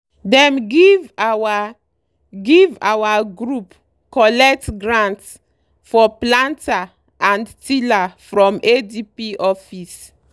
dem give our give our group collect grant for planter and tiller from adp office.